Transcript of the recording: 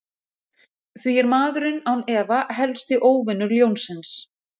Því er maðurinn án efa helsti óvinur ljónsins.